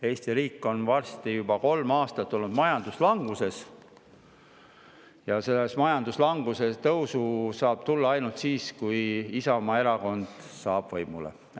Eesti riik on varsti olnud juba kolm aastat majanduslanguses ja selles majanduslanguses saab tõus tulla ainult siis, kui Isamaa Erakond saab võimule.